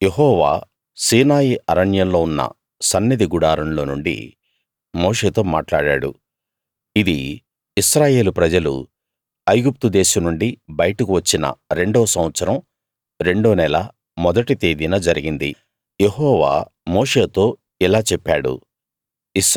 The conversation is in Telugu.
యెహోవా సీనాయి అరణ్యంలో ఉన్న సన్నిధి గుడారంలో నుండి మోషేతో మాట్లాడాడు ఇది ఇశ్రాయేలు ప్రజలు ఐగుప్తు దేశం నుండి బయటకు వచ్చిన రెండో సంవత్సరం రెండో నెల మొదటి తేదీన జరిగింది యెహోవా మోషేతో ఇలా చెప్పాడు